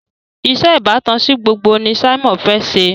iṣé ìbátan sí gbogbo ní Simon fè ṣe